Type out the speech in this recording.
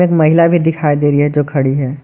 महिला भी दिखाई दे रही हैं जो खड़ी हैं।